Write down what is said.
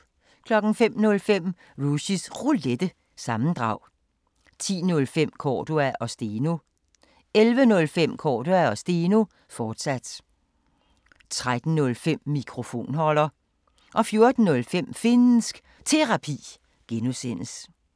05:05: Rushys Roulette – sammendrag 10:05: Cordua & Steno 11:05: Cordua & Steno, fortsat 13:05: Mikrofonholder 14:05: Finnsk Terapi (G)